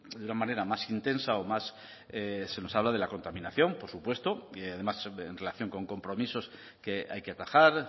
de una manera más intensa o más se nos habla de la contaminación por supuesto y además en relación con compromisos que hay que atajar